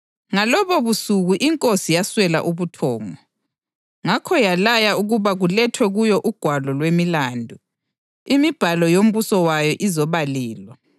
Ngalobobusuku inkosi yaswela ubuthongo; ngakho yalaya ukuba kulethwe kuyo ugwalo lwemiLando, imibhalo yombuso wayo, izobalelwa.